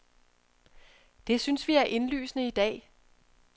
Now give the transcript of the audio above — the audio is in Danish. Det synes vi er indlysende i dag.